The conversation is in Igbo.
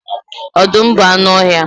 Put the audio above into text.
Ọdụm bụ anụ ọhịa.